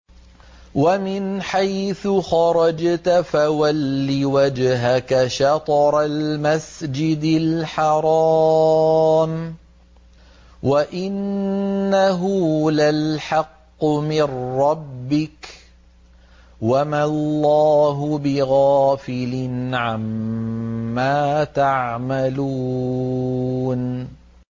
وَمِنْ حَيْثُ خَرَجْتَ فَوَلِّ وَجْهَكَ شَطْرَ الْمَسْجِدِ الْحَرَامِ ۖ وَإِنَّهُ لَلْحَقُّ مِن رَّبِّكَ ۗ وَمَا اللَّهُ بِغَافِلٍ عَمَّا تَعْمَلُونَ